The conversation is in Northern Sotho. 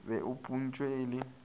be a phuntšwe e le